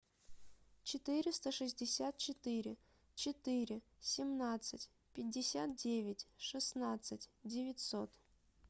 четыреста шестьдесят четыре четыре семнадцать пятьдесят девять шестнадцать девятьсот